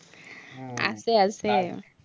আছে